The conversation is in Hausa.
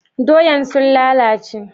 Doyan sun lalace?